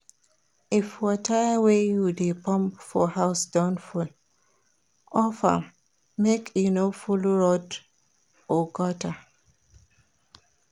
If water wey you de pump for house don full, off am make e no full road or gutter